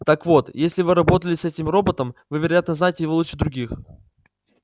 так вот если вы работали с этим роботом вы вероятно знаете его лучше других